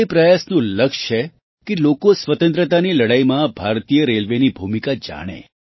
તે પ્રયાસનું લક્ષ્ય છે કે લોકો સ્વતંત્રતાની લડાઈમાં ભારતીય રેલવેની ભૂમિકા જાણે